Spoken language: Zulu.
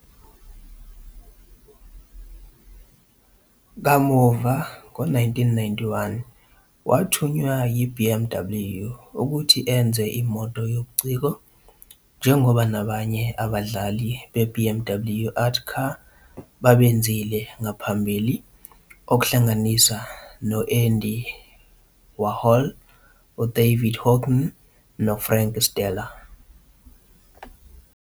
Kamuva ngo-1991, wathunywa yi-BMW ukuthi enze imoto yobuciko, njengoba abanye abadali be-BMW Art Car babenzile ngaphambili, okuhlanganisa no-Andy Warhol, David Hockney noFrank Stella.